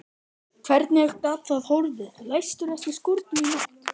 Hvernig gat það horfið, læstirðu ekki skúrnum í nótt?